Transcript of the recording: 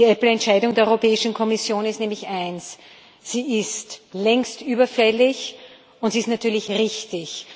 Die Apple-Entscheidung der Europäischen Kommission ist nämlich eins Sie ist längst überfällig, und sie ist natürlich richtig.